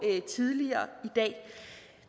tidligere i dag